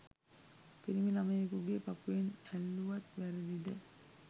පිරිමි ලමයකුගේ පපුවෙන් ඇල්ලුවත් වැරදිද?